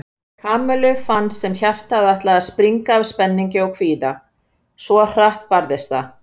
Kamillu fannst sem hjartað ætlaði að springa af spenningi og kvíða, svo hratt barðist það.